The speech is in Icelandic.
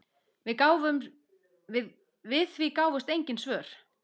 Við því gáfust engin svör.